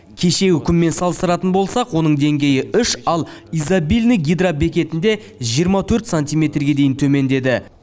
кешегі күнмен салыстыратын болсақ оның деңгейі үш ал изобильный гидробекетінде жиырма төрт сантиметрге дейін төмендеді